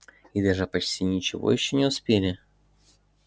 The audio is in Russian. и даже почти ничего ещё не успели и рассказать